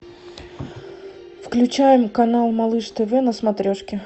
включаем канал малыш тв на смотрешке